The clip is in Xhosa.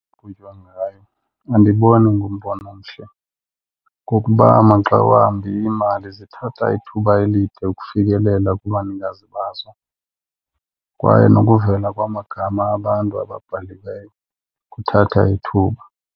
Qhutywa ngayo, andiboni ingumbono omhle ngokuba maxa wambi iimali zithatha ithuba elide ukufikelela kubanikazi bazo kwaye nokuvela kwamagama abantu ababhaliweyo kuthatha ithuba.